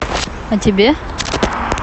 о тебе